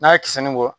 N'a ye kisɛ nin bɔ